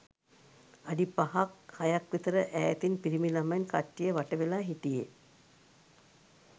අඩි පහක්හයක් විතර ඈතින් පිරිමි ළමයින් කට්ටිය වට වෙලා හිටියෙ